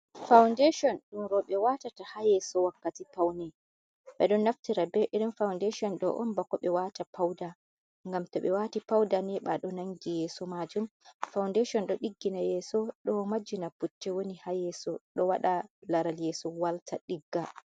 Faundaton ɗum roɓe watata ha yeso wakkati paune, ɓe ɗon naftira be irin faundation ɗo on bako ɓe wata pauda ngam to ɓe wati pauda neɓa ɗo nangi yeso majum, faundation ɗo ɗiggina yeso ɗo majina putte woni ha yeso, ɗo wada laral yeso walta ɗigga.